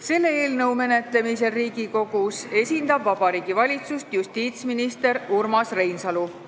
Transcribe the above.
Selle eelnõu menetlemisel Riigikogus esindab Vabariigi Valitsust justiitsminister Urmas Reinsalu.